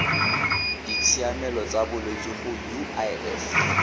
ditshiamelo tsa bolwetsi go uif